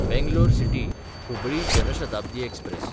Bangalore सिटी–हुबळी Jan Shatabdi express